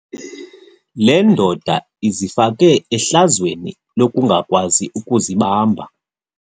Le ndoda izifake ehlazweni lokungakwazi ukuzibamba.